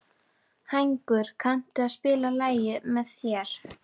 Hængur, kanntu að spila lagið „Með þér“?